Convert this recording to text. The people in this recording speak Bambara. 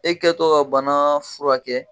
E kɛtɔ ka bana furakɛ.